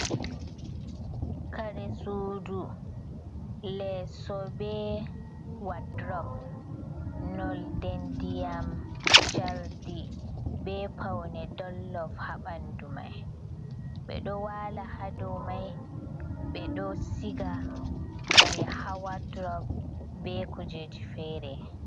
Kare suudu, leeso bee wadurob noolde ndiyam Cardi bee pawne Dollof haa bandu mai, ɓe ɗo waala haa dow mai ɓe ɗo shiga kare haa wadurob bee kuujeeji feere.